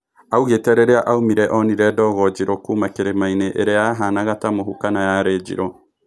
Augĩ te rĩ rĩ a aumĩ re onire dogo njirũ kuma kĩ rĩ mainĩ ĩ rĩ a yahanaga ta mũhu kana yarĩ njirũ